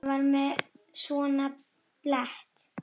Hann var með svona blett.